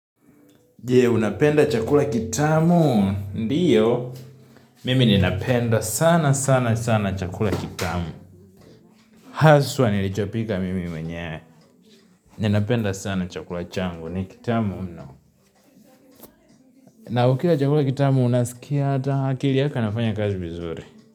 Je unapenda chakula kitamu? Ndiyo Mimi ninapenda sana sana sana chakula kitamu Haswa nilichopika mimi mwenye Ninapenda sana chakula changu ni kitamu mno na ukila chakula kitamu unasikia Hata akili yako inafanya kazi vizuri.